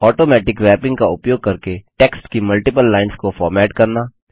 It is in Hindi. ऑटोमेटिक रैपिंग का उपयोग करके टेक्स्ट की मल्टिपल लाइन्स को फॉर्मेट करना